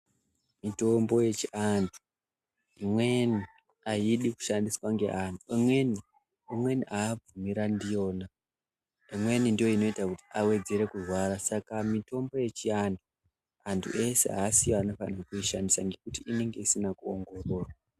Mitombo yechiantu imweni haidi kushandiswa ngeantu, amweni haabvumirani ndiyona, imweni ndiyo inoita kuti avedzere kurwara. Saka mitombo yechiantu antu ese haasiyo anifanirwa kuishandisa ngekuti inonga isina kuongororwa.